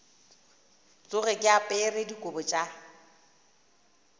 tsoge ke apere dikobo tša